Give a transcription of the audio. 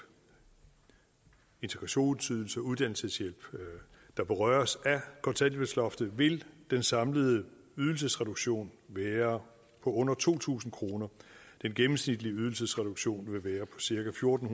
integrationsydelse og uddannelseshjælp der berøres af kontanthjælpsloftet vil den samlede ydelsesreduktion være på under to tusind kroner den gennemsnitlige ydelsesreduktion vil være på cirka fjorten